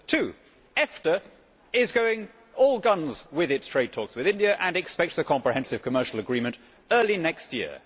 Two EFTA is going all guns with its trade talks with India and expects a comprehensive commercial agreement early next year.